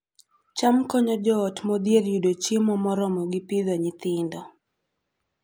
cham konyo joot modhier yudo chiemo moromogi Pidhoo nyithindo